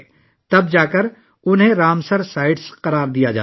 تب ہی انہیں رامسر سائٹس قرار دیا جاتا ہے